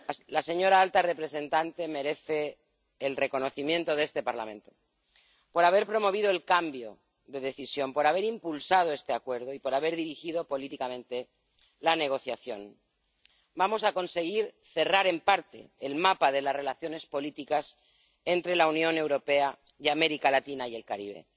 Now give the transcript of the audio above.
La señora alta representante merece el reconocimiento de este Parlamento por haber promovido el cambio de decisión, por haber impulsado este Acuerdo y por haber dirigido políticamente la negociación. Vamos a conseguir cerrar, en parte, el mapa de las relaciones políticas entre la Unión Europea y América Latina y el Caribe.